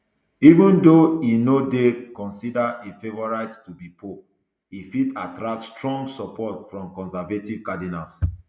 even though e no dey considered a favourite to be pope e fit attract strong support from conservative cardinals